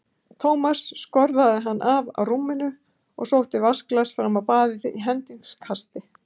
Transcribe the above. Thomas skorðaði hann af á rúminu og sótti vatnsglas fram á baðið í hendingskasti.